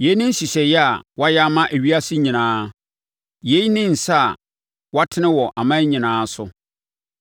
Yei ne nhyehyɛeɛ a wɔayɛ ama ewiase nyinaa; yei ne nsa a wɔatene wɔ aman nyinaa so.